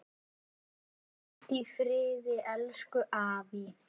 Hvíld í friði, elsku afi.